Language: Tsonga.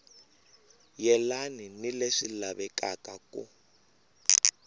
yelani ni leswi lavekaka ku